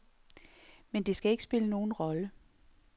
Men det skal ikke spille nogen rolle.